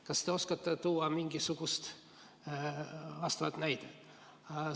Kas te oskate tuua mingisuguseid vastavaid näiteid?